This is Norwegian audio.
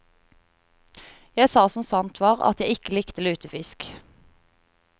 Jeg sa som sant var, at jeg ikke likte lutefisk.